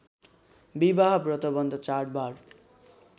विवाह व्रतवन्ध चाडबाड